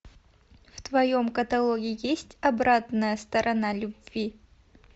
в твоем каталоге есть обратная сторона любви